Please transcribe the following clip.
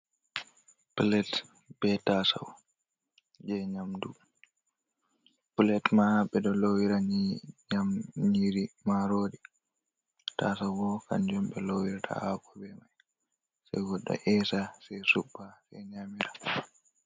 Plate be tasau, je nyamdu. Plate maa ɓedo lowira ny nyam nyiri marori. Tasau bo kanjum on ɓe ɗo lowira hako be mai. Se goɗɗo esa, se suɓɓa, se nyamada.